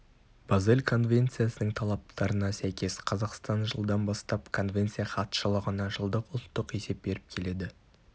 базель конвенциясының талаптарына сәйкес қазақстан жылдан бастап конвенция хатшылығына жылдық ұлттық есеп беріп келеді